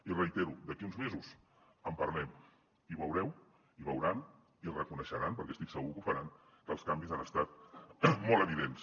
i ho reitero d’aquí uns mesos en parlem i veureu i veuran i reconeixeran perquè estic segur que ho faran que els canvis han estat molt evidents